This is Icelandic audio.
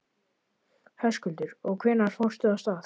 Höskuldur: Og hvenær fórstu af stað?